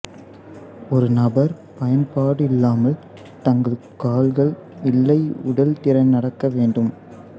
ஒரு நபர் பயன்பாடு இல்லாமல் தங்கள் கால்கள் இல்லை உடல் திறன் நடக்க வேண்டும்